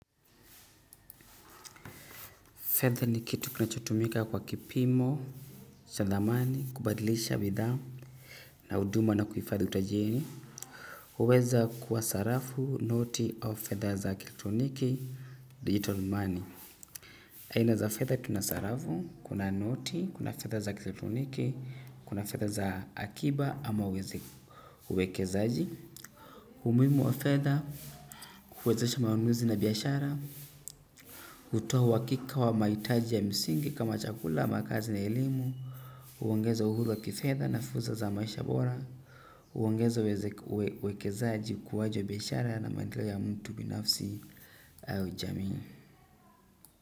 Fedha ni kitu kunachotumika kwa kipimo, cha thamani, kubadilisha bidhaa na huduma na kuhifadhi utajiri huweza kuwa sarafu, noti au fedha za kielekitroniki-digital money. Aina za fedha tuna sarafu, kuna noti, kuna fedha za kielekitroniki, kuna fedha za akiba ama uwekezaji. Umuhimu wa fedha, huwezesha maamuzi na biashara. Kutoa uhakika wa mahitaji ya msingi kama chakula, makazi na elimu. Huongeza uhuru wa kifedha na fursa za maisha bora. Huongeza uwekezaaji ukuaji wa biashara na maendeleo ya mtu binafsi au jamii.